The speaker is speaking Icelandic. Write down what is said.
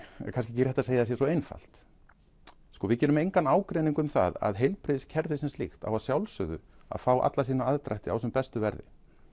kannski ekki rétt að segja að það sé svo einfalt við gerum engan ágreining um það að heilbrigðiskerfið sem slíkt á að sjálfsögðu fá alla sína aðdrætti á sem bestu verðum